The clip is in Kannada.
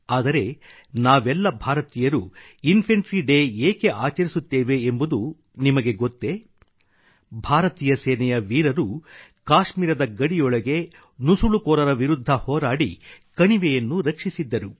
ಆದರೆ ನಾವೆಲ್ಲ ಭಾರತೀಯರು ಇನ್ಫಂಟ್ರಿ ಡೇ ಏಕೆ ಆಚರಿಸುತ್ತೇವೆ ಎಂಬುದು ನಿಮಗೆ ಗೊತ್ತೇ ಭಾರತೀಯ ಸೇನೆಯ ವೀರರು ಕಾಶ್ಮೀರದ ಗಡಿಯೊಳಗೆ ನುಸುಳುಕೋರರ ವಿರುದ್ಧ ಹೋರಾಡಿ ಕಣಿವೆಯನ್ನು ರಕ್ಷಿಸಿದ್ದರು